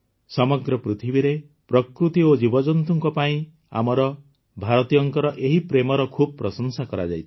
ସମଗ୍ର ପୃଥିବୀରେ ପ୍ରକୃତି ଓ ଜୀବଜନ୍ତୁଙ୍କ ପାଇଁ ଆମର ଭାରତୀୟଙ୍କ ଏହି ପ୍ରେମର ଖୁବ୍ ପ୍ରଶଂସା କରାଯାଇଥିଲା